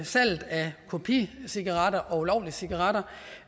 salget af kopicigaretter og ulovlige cigaretter